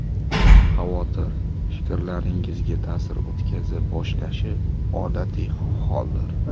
Xavotir fikrlaringizga ta’sir o‘tkaza boshlashi odatiy holdir.